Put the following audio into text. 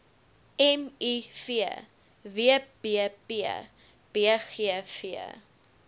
miv wbp bgv